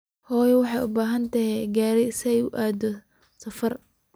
Hooyo waxay u baahan tahay Karai si ay ugu qaado safar.